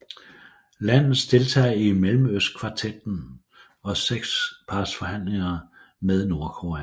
Landet deltager i Mellemøstkvartetten og sekspartsforhandlingerne med Nordkorea